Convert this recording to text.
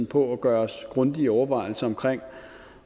på at gøre os grundige overvejelser om